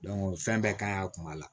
fɛn bɛɛ kan a kun ma la